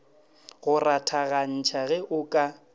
go rathagantšha ge o ka